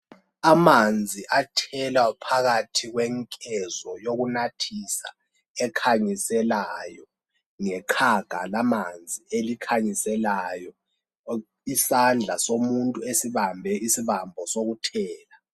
Amanzi athelwa phakathi kwenkezo yokunathisa ekhanyiselayo ngeqhaga lamanzi elikhanyiselayo , isandla somuntu esibambe isibambo sokuthela